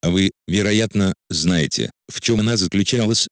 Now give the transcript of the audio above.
вы вероятно знаете в чем она заключалась